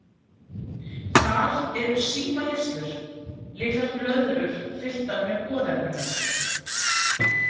Þar eru símahirslur, litlar blöðrur fylltar með boðefnum.